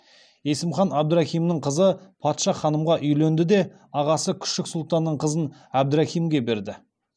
есім хан әбдірахимнің қызы патша ханымға үйленді де ағасы күшік сұлтанның қызын әбдірахимге берді